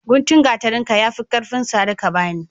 Guntun gatarin ka ya fi karfin sare ka bane